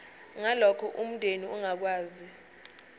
ngalokho umndeni ongakwazi